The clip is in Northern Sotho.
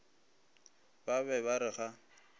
ba be ba re ga